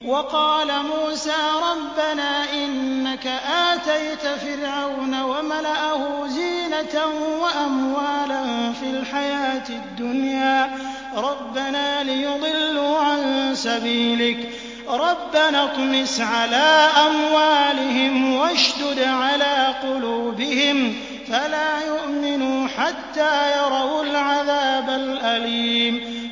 وَقَالَ مُوسَىٰ رَبَّنَا إِنَّكَ آتَيْتَ فِرْعَوْنَ وَمَلَأَهُ زِينَةً وَأَمْوَالًا فِي الْحَيَاةِ الدُّنْيَا رَبَّنَا لِيُضِلُّوا عَن سَبِيلِكَ ۖ رَبَّنَا اطْمِسْ عَلَىٰ أَمْوَالِهِمْ وَاشْدُدْ عَلَىٰ قُلُوبِهِمْ فَلَا يُؤْمِنُوا حَتَّىٰ يَرَوُا الْعَذَابَ الْأَلِيمَ